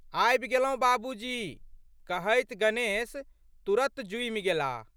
आबि गेलौं बाबूजी! " कहैत गणेश तुरत जुमि गेलाह।